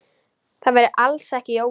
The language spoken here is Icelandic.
Það væri alls ekki Jói.